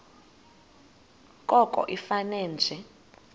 koko ifane nje